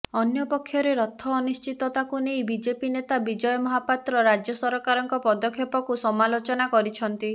ଅନ୍ୟପକ୍ଷରେ ରଥ ଅନିଶ୍ଚିତତାକୁ ନେଇ ବିଜେପି ନେତା ବିଜୟ ମହାପାତ୍ର ରାଜ୍ୟ ସରକାରଙ୍କ ପଦକ୍ଷେପକୁ ସମାଲୋଚନା କରିଛନ୍ତି